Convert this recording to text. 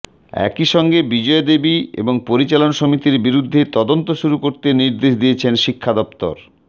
একই সঙ্গে বিজয়াদেবী এবং পরিচালন সমিতির বিরুদ্ধে তদন্ত শুরু করতে নির্দেশ দিয়েছেন শিক্ষা দফতরের